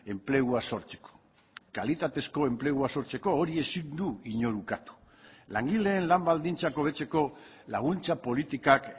enplegua sortzeko kalitatezko enplegua sortzeko hori ezin du inor ukatu langileen lan baldintzak hobetzeko laguntza politikak